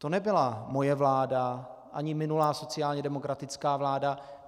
To nebyla moje vláda ani minulá sociálně demokratická vláda.